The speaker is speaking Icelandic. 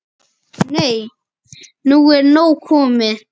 Nei, nú er nóg komið!